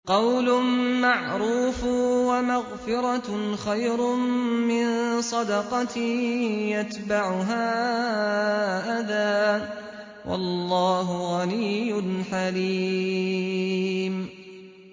۞ قَوْلٌ مَّعْرُوفٌ وَمَغْفِرَةٌ خَيْرٌ مِّن صَدَقَةٍ يَتْبَعُهَا أَذًى ۗ وَاللَّهُ غَنِيٌّ حَلِيمٌ